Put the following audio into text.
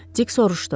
Dik soruşdu.